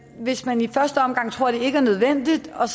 hvis man i første omgang tror at det ikke er nødvendigt og